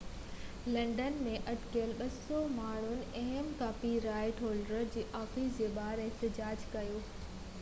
London ۾ اٽڪل 200 ماڻهن اهم ڪاپي رائيٽ هولڊرن جي آفيسن جي ٻاهر احتجاج ڪيو